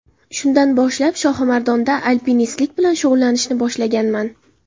Shundan boshlab, Shohimardonda alpinistlik bilan shug‘ullanishni boshlaganman”.